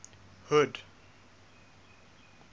hood